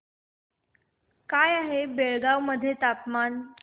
काय आहे बेळगाव मध्ये तापमान